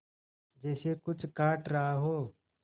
जैसे कुछ काट रहा हो